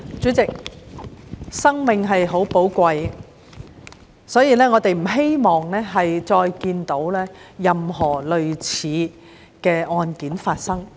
主席，生命很寶貴，我們不希望再看到任何類似的案件發生。